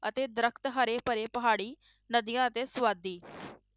ਅਤੇ ਦਰਖ਼ਤ ਹਰੇ ਭਰੇ ਪਹਾੜੀ ਨਦੀਆਂ ਅਤੇ ਸਵਾਦੀ